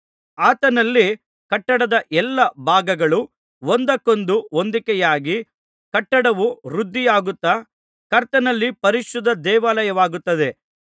ಆತನಲ್ಲಿ ಕಟ್ಟಡದ ಎಲ್ಲಾ ಭಾಗಗಳು ಒಂದಕ್ಕೊಂದು ಹೊಂದಿಕೆಯಾಗಿ ಕಟ್ಟಡವು ವೃದ್ಧಿಯಾಗುತ್ತಾ ಕರ್ತನಲ್ಲಿ ಪರಿಶುದ್ಧ ದೇವಾಲಯವಾಗುತ್ತದೆ